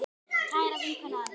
Kæra vinkona Anna.